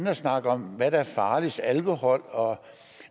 at snakke om hvad der er farligst alkohol